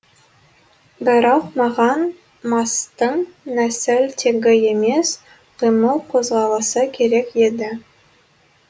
бірақ маған мастың нәсіл тегі емес қимыл қозғалысы керек еді